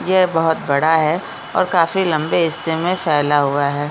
ये बहुत बड़ा है और काफी लम्बे हिस्से मे फैला हुआ है।